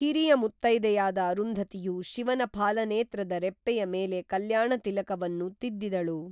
ಹಿರಿಯ ಮುತ್ತೈದೆಯಾದ ಅರುಂಧತಿಯು ಶಿವನ ಫಾಲನೇತ್ರದ ರೆಪ್ಪೆಯ ಮೇಲೆ ಕಲ್ಯಾಣ ತಿಲಕವನ್ನು ತಿದ್ದಿದಳು